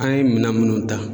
An ye minɛn minnu ta.